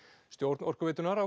stjórn Orkuveitunnar